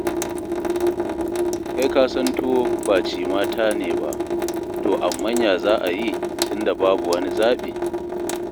Kai ka san tuwo ba cimata ne ba, to amman ya za a yi tun da babu wani zaɓi.